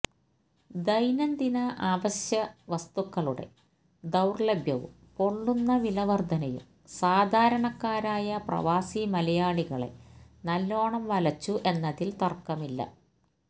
ദൈനംദിന അവശ്യ വസ്തുക്കളുടെ ദൌര്ലഭ്യവും പൊള്ളുന്ന വിലവര്ധനയും സാധാരണക്കാരായ പ്രവാസി മലയാളികളെ നല്ലോണം വലച്ചു എന്നതില് തര്ക്കമില്ല